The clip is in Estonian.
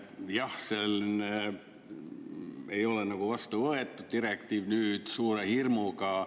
Jah, seal ei ole vastu võetud direktiiv, nüüd suure hirmuga.